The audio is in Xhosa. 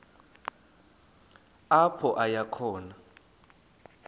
apho aya khona